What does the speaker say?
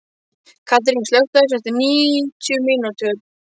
Katrín, slökktu á þessu eftir níutíu mínútur.